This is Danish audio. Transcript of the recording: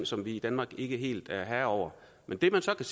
som vi i danmark ikke helt er herre over det man så kan